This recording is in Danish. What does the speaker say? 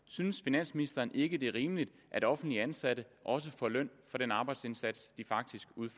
synes finansministeren ikke det er rimeligt at offentligt ansatte også får løn for den arbejdsindsats de faktisk